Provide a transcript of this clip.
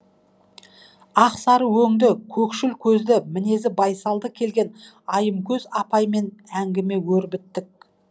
ақсары өңді көкшіл көзді мінезі байсалды келген айымкөз апаймен әңгіме өрбіттік